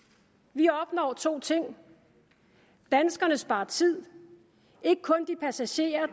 vi opnår to ting danskerne sparer tid ikke kun de passagerer